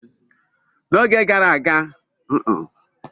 Oge gara aga, nnem siri ofe ọha na ede